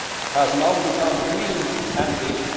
has now become clean and green'.